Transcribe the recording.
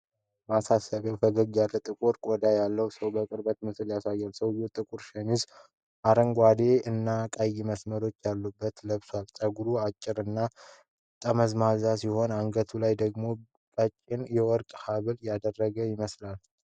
ማሳሰቢያው ፈገግታ ያለው ጥቁር ቆዳ ያለው ሰው የቅርብ ምስል ያሳያል፤ ሰውዬው ጥቁር ሸሚዝ አረንጓዴ እና ቀይ መስመሮች ያሉት ለብሷል። ፀጉሩ አጭር እና ጠመዝማዛ ሲሆን፣ አንገቱ ላይ ደግሞ ቀጭን የወርቅ ሐብል ያደረገ ይመስላል።